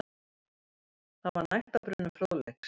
Þar var nægtabrunnur fróðleiks.